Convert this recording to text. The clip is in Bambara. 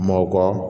Mɔkɔ